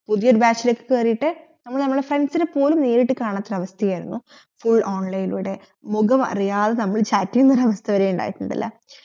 പുതിയ ഒരു batch ലെക് കേറീട്ട് നമ്മൾ നമ്മളെ friends നെ പോലും നേരിട് കാണാതൊരു അവസത്തയായിരുന്നു full online ലൂടെ മുഖം അറിയാതെ നമ്മൾ chat യന ഒരു വാസ്ത വരെ ഇണ്ടായിട്ടിണ്ടാല്ല